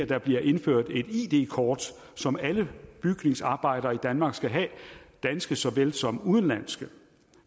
der bliver indført et id kort som alle bygningsarbejdere i danmark skal have danske såvel som udenlandske